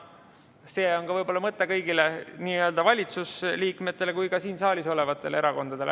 See on võib-olla mõte nii kõigile valitsusliikmetele kui ka siin saalis olevatele erakondadele.